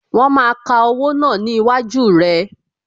Wọn máa ka owó náà ni iwájú rẹ